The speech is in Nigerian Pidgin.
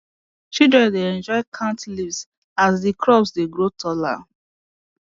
children dey enjoy count leaves as the crops dey grow taller